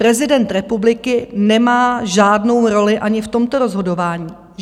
Prezident republiky nemá žádnou roli ani v tomto rozhodování.